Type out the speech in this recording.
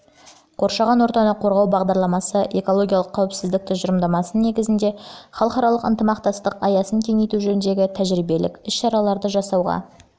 қоршаған ортаны қорғау бағдарламасы экологиялық қауіпсіздік тұжырымдамасының негізінде халықаралық ынтымақтастық аясын кеңейту жөніндегі тжірибелік іс-шараларды жасауға